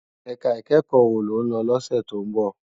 Èká ikèékò wó ló n lò lòsè tó n bò?